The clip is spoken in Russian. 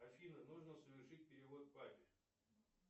афина нужно совершить перевод папе